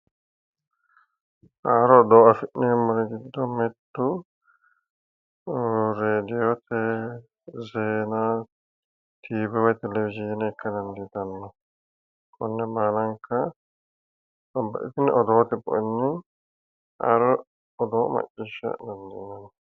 Haaro odoo afi'neemmori giddo mittu rediwote zeenaati woyi televijiine ikka dandiitanno konne baalanka babbaxxitino odoote bu'enni haaro odoo macciisha dandiinanni